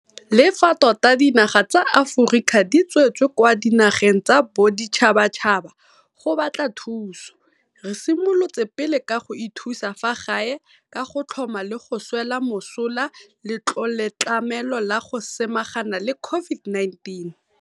Le fa tota dinaga tsa Aforika di tswetse kwa dinageng tsa boditšhabatšhaba go batla thuso, re simolotse pele ka go ithusa fa gae ka go tlhoma le go swela mosola Letloletlamelo la go Samagana le COVID-19.